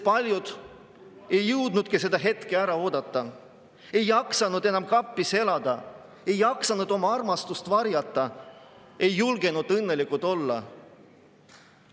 Paljud ei jõudnudki seda hetke ära oodata, ei jaksanud enam kapis elada, ei jaksanud oma armastust varjata, ei julgenud õnnelikud olla.